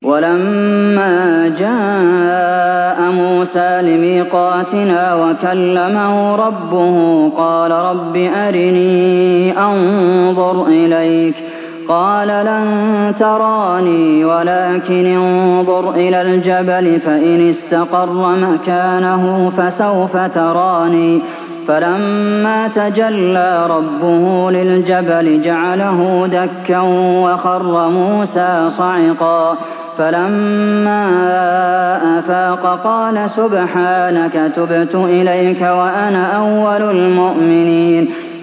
وَلَمَّا جَاءَ مُوسَىٰ لِمِيقَاتِنَا وَكَلَّمَهُ رَبُّهُ قَالَ رَبِّ أَرِنِي أَنظُرْ إِلَيْكَ ۚ قَالَ لَن تَرَانِي وَلَٰكِنِ انظُرْ إِلَى الْجَبَلِ فَإِنِ اسْتَقَرَّ مَكَانَهُ فَسَوْفَ تَرَانِي ۚ فَلَمَّا تَجَلَّىٰ رَبُّهُ لِلْجَبَلِ جَعَلَهُ دَكًّا وَخَرَّ مُوسَىٰ صَعِقًا ۚ فَلَمَّا أَفَاقَ قَالَ سُبْحَانَكَ تُبْتُ إِلَيْكَ وَأَنَا أَوَّلُ الْمُؤْمِنِينَ